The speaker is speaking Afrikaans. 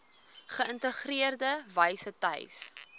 geïntegreerde wyse tuis